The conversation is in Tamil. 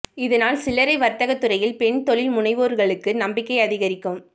இதனால் சில்லறை வர்த்தக துறையில் பெண் தொழில் முனைவோர்களுக்கும் நம்பிக்கை அதிகரிக்கும்